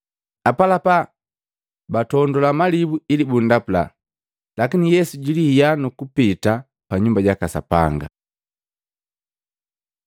Apalapa batondula malibu ili bundapula, lakini Yesu jilihia nukupita pa Nyumba jaka Sapanga.